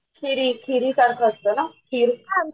खिरी खिरीसारख असतं ना खिर